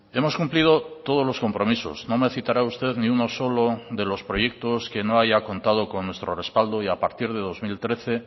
hemos cumplido todos los compromisos no me citará usted ni uno solo de los proyectos que no haya contado con nuestro respaldo y a partir de dos mil trece